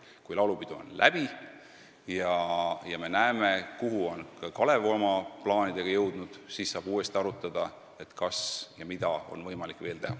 Kui laulupidu on läbi ja me näeme, kuhu on Kalev oma plaanidega jõudnud, siis saab uuesti arutada, kas ja mida saaks veel teha.